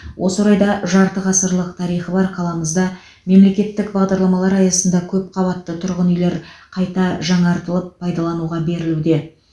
осы орайда жарты ғасырлық тарихы бар қаламызда мемлекеттік бағдарламалар аясында көпқабатты тұрғын үйлер қайта жаңартылып пайлануға берілуде